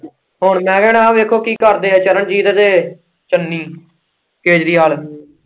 ਹੁਣ ਮੈਂ ਕਹਿਣਾ ਦੇਖਣੇ ਆਹ ਵੇਖੋ ਕੀ ਕਰਦੇ ਆ ਚਰਨਜੀਤ ਤੇ ਚੰਨੀ ਕੇਜਰੀਵਾਲ।